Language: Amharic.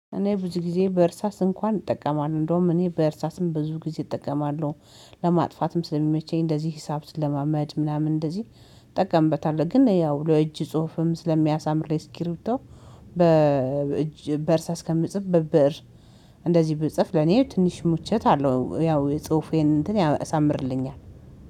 እኔ ብዙ ጊዜ በእርሳስ እንኳን እጠቀማለሁ እንደውም እኔ በእርሳስም ብዙ ጊዜ እጠቀማለሁ ለማጥፋትም ስለሚመቸኝ እንደዚህ ሂሳብ ስለማመድ ምናምን እንደዚህ። እጠቀምበታለሁ ግን ያው ለእጅ ጽሁፍም ስለሚያሳምር ስኪሩቶ። በእርሳስ ከምጽፍ በብእር እንደዚህ ብጽፍ ለኔ ትንሽ ምቾት አለው ያው የጽሁፌን እንትን ያሳምርልኛል